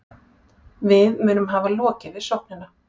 Við munum hafa lokið við sóknina